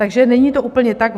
Takže není to úplně tak.